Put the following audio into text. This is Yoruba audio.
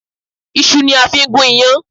Iṣu ni a fi ń gún iyán